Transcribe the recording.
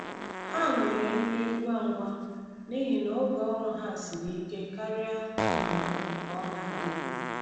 Ha mere nri ngwa ngwa n’ihi na oge ọrụ ha siri ike karịa um ka ọ na-adịbu.